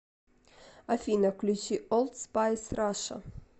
афина включи олд спайс раша